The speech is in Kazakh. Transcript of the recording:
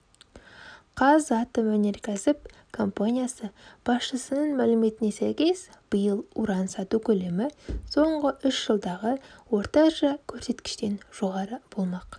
қазатомөнеркәсіп компаниясы басшысының мәліметіне сәйкес биыл уран сату көлемі соңғы үш жылдағы орташа көрсеткіштен жоғары болмақ